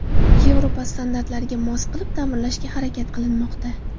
Yevropa standartlariga mos qilib ta’mirlashga harakat qilinmoqda.